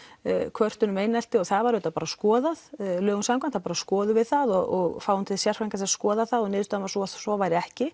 kvörtun um einelti og það var auðvitað bara skoðað lögum samkvæmt þá bara skoðum við það og fáum sérfræðinga til þess að skoða það og niðurstaðan var sú að svo væri ekki